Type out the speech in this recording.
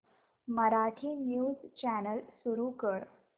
Marathi news channel सुरू कर